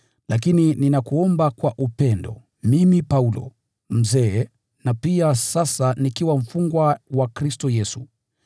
lakini ninakuomba kwa upendo, mimi Paulo, mzee na pia sasa nikiwa mfungwa wa Kristo Yesu,